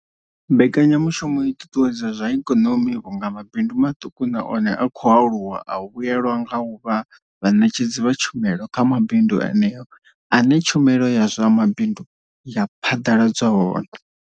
Mbekanyamushumo i ṱuṱuwedza zwa ikonomi vhunga mabindu maṱuku na one a khou aluwa a vhuelwa nga u vha vhaṋetshedzi vha tshumelo kha mavundu eneyo ane tshumelo ya zwa mabindu ya phaḓaladzwa hone.